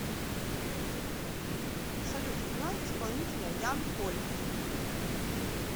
салют играй исполнителя ян поли